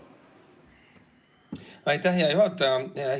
Aitäh, hea juhataja!